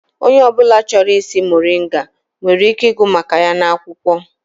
Onye ọ bụla chọrọ ịsị muringa nwere ike ịgụ maka ya n'akwụkwọ.